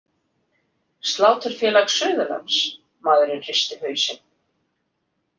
Sláturfélag Suðurlands- maðurinn hristi hausinn.